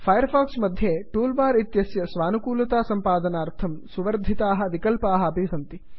fire fox मध्ये toolbar इत्यस्य स्वानुकूलतासम्पादनार्थं सुवर्धिताः विकल्पाः अपि सन्ति